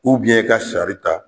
i ka sari ta